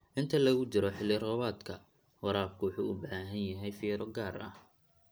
Inta lagu jiro xilli-roobaadka, waraabku wuxuu u baahan yahay fiiro gaar ah.